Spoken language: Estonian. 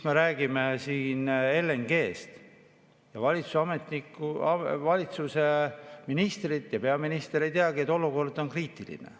Me räägime siin LNG‑st. Valitsuse ministrid ja peaminister ei teagi, et olukord on kriitiline.